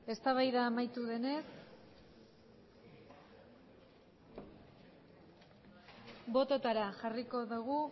eztabaida amaitu denez bototara jarriko dugu